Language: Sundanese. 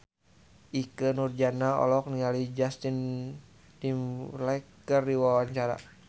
Ikke Nurjanah olohok ningali Justin Timberlake keur diwawancara